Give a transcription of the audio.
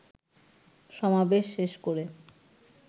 সমাবেশ শেষ করে